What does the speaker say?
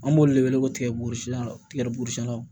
An b'olu de wele ko tigɛburu sila tigɛbugusiɲɛna